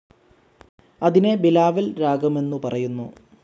അതിനെ ബിലാവൽ രാഗമെന്നു പറയുന്നു.